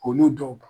Olu dɔw kan